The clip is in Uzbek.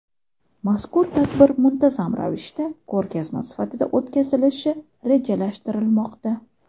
Mazkur tadbir muntazam ravishda ko‘rgazma sifatida o‘tkazilishi rejalashtirilmoqda.